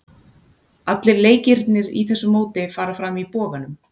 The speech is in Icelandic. Allir leikirnir í þessu móti fara fram í Boganum.